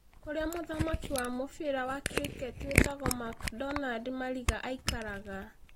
Kũrĩa mũthaki wa mũbira wa Cricket wĩtagwo McDonald Mariga aikaraga